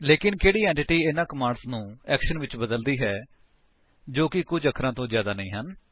ਲੇਕਿਨ ਕਿਹੜੀ ਐਂਟੀਟੀ ਇਹਨਾ ਕਮਾਂਡਸ ਨੂੰ ਐਕਸ਼ਨ ਵਿੱਚ ਬਦਲਦੀ ਹੈ ਜੋ ਕਿ ਕੁੱਝ ਅੱਖਰਾਂ ਤੋਂ ਜਿਆਦਾ ਨਹੀਂ ਹਨ